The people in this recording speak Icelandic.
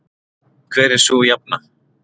Hver er sú jafna?